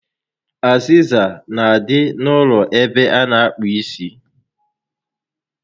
Azịza n'adị n'ụlọ ebe a na akpụ isi